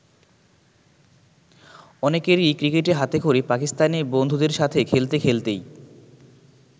অনেকেরই ক্রিকেটে হাতেখড়ি পাকিস্তানি বন্ধুদের সাথে খেলতে খেলতেই।